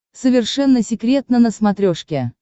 совершенно секретно на смотрешке